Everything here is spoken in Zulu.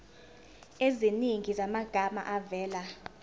eziningi zamagama avela